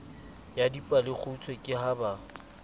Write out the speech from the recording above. ya dipalekgutshwe ke ha ba